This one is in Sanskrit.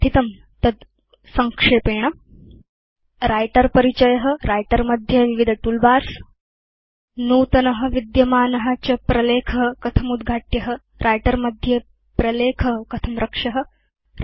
यद् पठितं तद् संक्षेपेण writer परिचय व्रिटर मध्ये विविध तूल बार्स नूतन विद्यमान च प्रलेख कथम् उद्घाट्य व्रिटर मध्ये प्रलेख कथं रक्ष्य